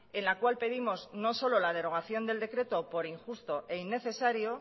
en la cual pedimos no solo la derogación del decreto por injusto e innecesario